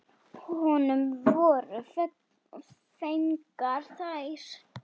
Honum voru fengnar þær.